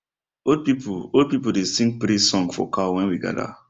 old people old people dey sing praise song for cow when we gather